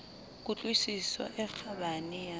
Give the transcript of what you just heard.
ku tlwisiso e kgabane ya